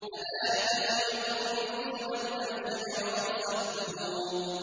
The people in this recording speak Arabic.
أَذَٰلِكَ خَيْرٌ نُّزُلًا أَمْ شَجَرَةُ الزَّقُّومِ